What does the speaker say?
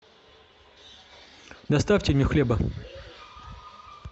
доставьте мне хлеба